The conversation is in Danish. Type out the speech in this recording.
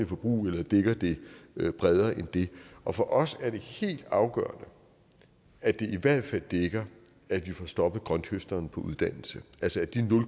forbrug eller dækker det bredere end det og for os er det helt afgørende at det i hvert fald dækker at vi får stoppet grønthøsteren på uddannelse altså at de